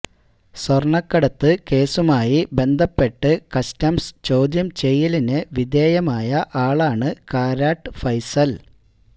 സ്വര്ണക്കടത്ത് കേസുമായി ബന്ധപ്പെട്ട് കസ്റ്റംസ് ചോദ്യം ചെയ്യലിന് വിധേയമായ ആളാണ് കാരാട്ട് ഫൈസല്